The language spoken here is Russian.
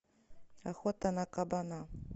охота на кабана